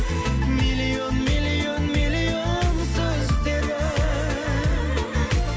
миллион миллион миллион сөздері